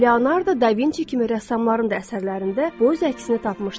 Leonardo da Vinci kimi rəssamların da əsərlərində bu öz əksini tapmışdı.